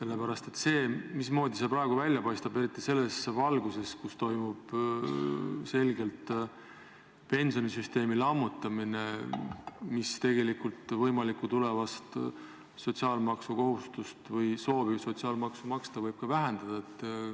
Mismoodi see praegu ikkagi välja paistab, eriti selles valguses, et toimub pensionisüsteemi lammutamine, mis võib vähendada soovi sotsiaalmaksu maksta?